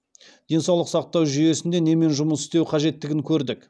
денсаулық сақтау жүйесінде немен жұмыс істеу қажеттігін көрдік